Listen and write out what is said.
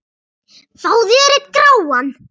Fáðu þér einn gráan!